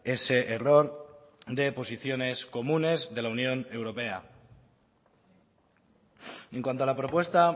ese error de posiciones comunes de la unión europea en cuanto a la propuesta